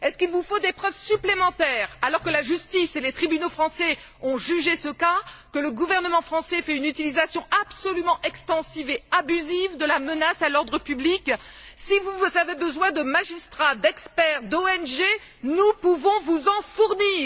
Vous faut il des preuves supplémentaires, alors que la justice et les tribunaux français ont jugé ce cas, que le gouvernement français fait une utilisation absolument extensive et abusive de la menace à l'ordre public? Si vous avez besoin de magistrats, d'experts, d'ONG, nous pouvons vous en fournir.